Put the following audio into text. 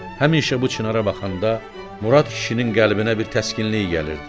Həmişə bu çinara baxanda Murad kişinin qəlbinə bir təskinlik gəlirdi.